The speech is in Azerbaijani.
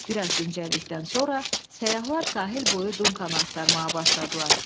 Bir az dincəldikdən sonra səyyahlar sahil boyu Dunkanı axtarmağa başladılar.